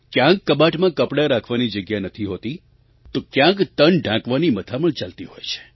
ક્યાંક કબાટમાં કપડાં રાખવાની જગ્યા નથી હોતી તો ક્યાંક તન ઢાંકવાની મથામણ ચાલતી હોય છે